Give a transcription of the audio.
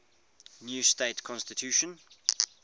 new state constitution